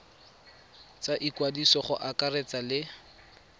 tsa ikwadiso go akaretsa le